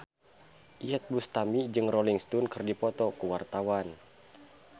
Iyeth Bustami jeung Rolling Stone keur dipoto ku wartawan